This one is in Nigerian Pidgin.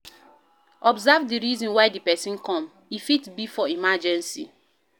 Observe di reason why di person come, e fit be for emergency